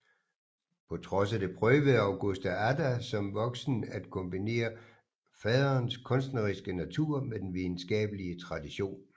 På trods af det prøvede Augusta Ada som voksen at kombinere faderens kunstneriske natur med den videnskabelige tradition